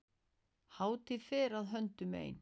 Hátíð fer að höndum ein.